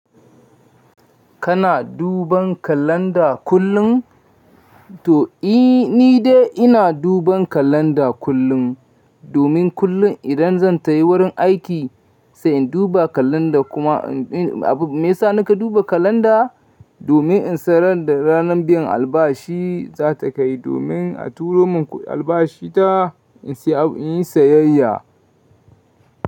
Kana duban kalanda kullum? To, ni dai ina duban kalanda kullum, domin kullum idan zan tai wurin aiki sai in duba kalanda kuma me ya sa na ka duba kalanda? Domin in san ranar biyan albashi za ta kai, domin a turo min albashita in yi sayayya.